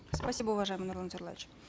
спасибо уважаемый нурлан зайроллаевич